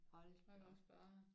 Hold da op